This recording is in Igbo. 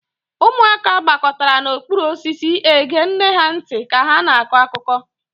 Ụmụaka gbakọtara n'okpuru osisi ege nne ha ntị ka ha na-akọ akụkọ.